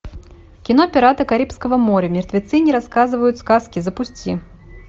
кино пираты карибского моря мертвецы не рассказывают сказки запусти